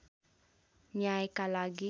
न्यायका लागि